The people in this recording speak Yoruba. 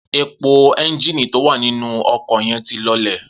Epo é̩ńjìnì tó wà nínú o̩kò̩ ye̩n ti lo̩lè̩